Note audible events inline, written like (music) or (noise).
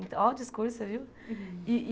Então, olha o discurso, você viu? (laughs)